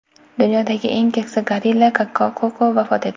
Dunyodagi eng keksa gorilla Koko vafot etdi.